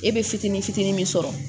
E be fitinin fitinin min sɔrɔ